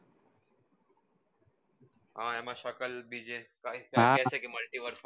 હા એમાં સકાલ બીજી કઈ